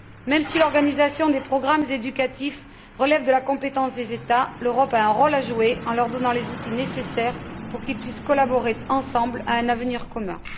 Même si l'organisation des programmes éducatifs relève de la compétence des États, l'Europe a un rôle à jouer en leur donnant les outils nécessaires pour qu'ils puissent collaborer ensemble à un avenir commun.